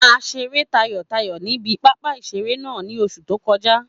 A seré tayọ̀tayọ̀ ní ibi pápá ìseré náà ní oṣù tó kọjá